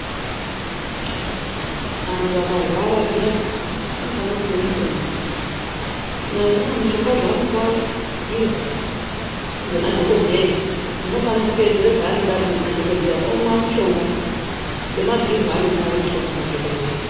Antu akarwara zviyani anofanira kunwa mishonga kunyanya-nyanya mishonga zvavanenge vabhuirwa ngemadhogodheya. Muntu anofanira kutedzera zvanenge abhuyirwa nemadhogodheya omwa mushonga semabhuirwe aanenge aitwa nemadhokodheya.